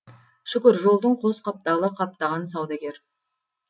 шүкір жолдың қос қапталы қаптаған саудагер